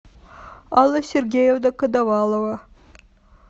алла сергеевна коновалова